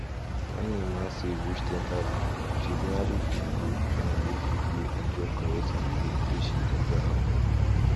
when emma save reach ten thousand she finally fit go finally fit go enjoy correct holiday wey she deserve